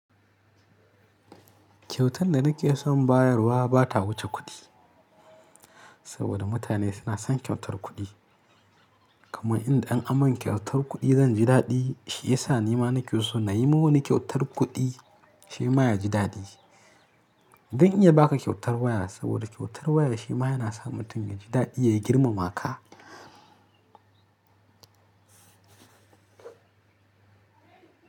Kyautan da nake son bayarwa ba ta wuce kuɗi, saboda mutane suna son kyautar kuɗi. Kaman inda in an man kyautar kuɗi zan ji daɗi, shi ya sa nima nake so na yi ma wani kyautar kuɗi, shi ma ya ji daɗi. Zan iya ba ka kyautar waya saboda kyautar waya shi ma yana sa mutum ya ji daɗi ya girmama ka.